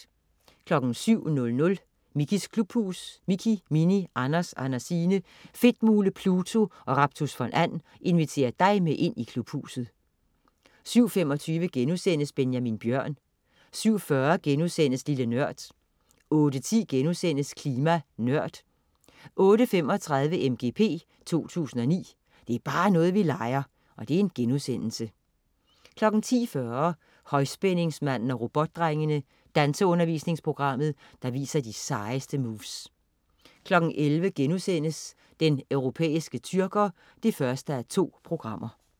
07.00 Mickeys klubhus. Mickey, Minnie, Anders, Andersine, Fedtmule, Pluto og Raptus von And inviterer dig med ind i Klubhuset 07.25 Benjamin Bjørn* 07.40 Lille Nørd* 08.10 Klima Nørd* 08.35 MGP 2009. Det er bare noget, vi leger!* 10.40 Højspændingsmanden og Robotdrengene. Danseundervisningsprogrammet, der viser de sejeste moves 11.00 Den europæiske tyrker 1:2*